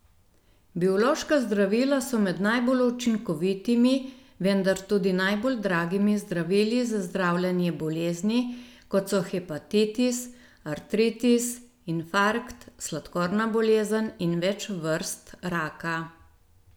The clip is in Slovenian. Biološka zdravila so med najbolj učinkovitimi, vendar tudi najbolj dragimi zdravili za zdravljenje bolezni, kot so hepatitis, artritis, infarkt, sladkorna bolezen in več vrst raka.